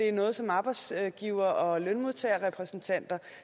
er noget som arbejdsgivere og lønmodtagerrepræsentanter